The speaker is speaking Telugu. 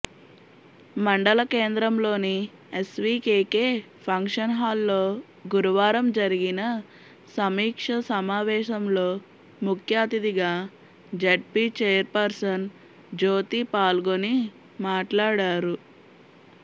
మండల కేంద్రంలోని ఎస్వికేకే ఫంక్షన్హాల్లో గురువారం జరిగిన సమీక్ష సమావేశంలో ముఖ్యఅతిథిగా జెడ్పీ చైర్పర్సన్ జ్యోతి పాల్గొని మాట్లాడారు